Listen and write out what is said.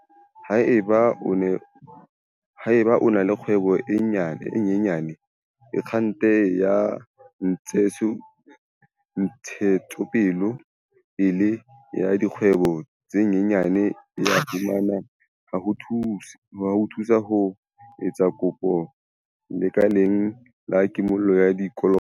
Haeba o na le kgwebo e nyenyane, Akgente ya Ntshetsopele ya Dikgwebo tse Nyenyane e a fumaneha ho o thusa ho etsa kopo lekaleng la kimollo ya dikoloto.